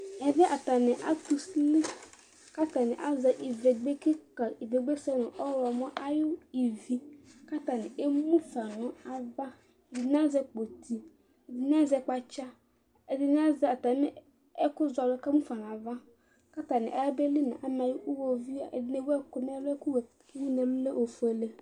ɛmɛ bi atani atʋ ʋsili kʋ atani azɛ ivɛgbè kikaa, ivɛgbè sɛnʋ ɔwlɔmɔ ayi ivi kʋ atani ɛmʋƒa nʋ aɣa, ɛdini azɛ kpɔti, ɛdini azɛ kpatsa, ɛdini azɛ atami ɛkʋ zɔlʋɛ kʋ ɛmʋƒa nʋ aɣa kʋ atani ya bɛli nʋ iwɔviʋɛ, ɛdini ɛwʋ ɛkʋ ɛlʋ, ɛkʋ wʋ nʋɛlʋɛ lɛ ɔƒʋɛlɛ